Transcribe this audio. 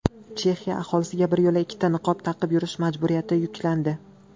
Chexiya aholisiga biryo‘la ikkita niqob taqib yurish majburiyati yuklandi.